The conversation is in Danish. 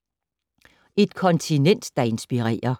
Et kontinent, der inspirerer